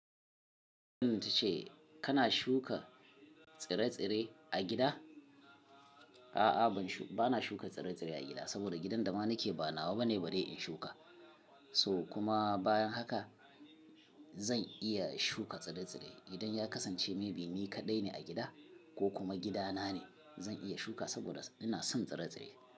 Don tace kana shuka tsire-tsire a gida? A'a, bana shuka tsire-tsire a gida, saboda gidan da ma nake ba nawa bane bari in shuka. So kuma bayan haka zan iya shuka tsire-tsire idan ya kasance maybe ni kaɗai ne a gida ko kuma gida na ne. Zan iya shuka saboda ina son tsire-tsire.